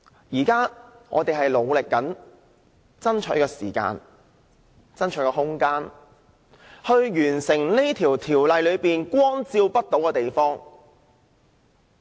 現時我們正努力爭取時間、空間，以涵蓋修訂規例下光照不到的地方。